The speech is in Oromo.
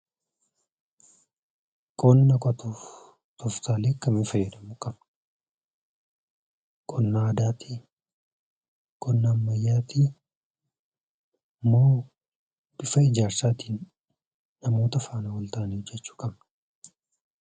Qonna qotuuf tooftaalee akkamii fayyadamuu qabna? Qonna aadaatii? Qonna ammayyaatii? Moo bifa ijaarsaatiin namoota faana wal taanee hojjechuu qabna?